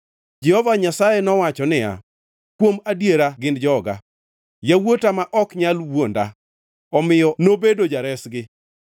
Jehova Nyasaye nowacho niya, “Kuom adiera gin joga, yawuota ma ok nyal wuonda,” omiyo nobedo Jaresgi.